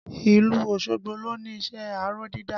Ìlú Osogbo lo ni iṣẹ́ aró dídá